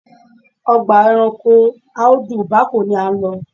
Ọgbà ẹranko Audu Bako ni à ń lọ.